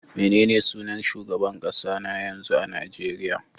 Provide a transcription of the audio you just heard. Menene sunan sunan shugaban kasa na yanzu a Najeriya?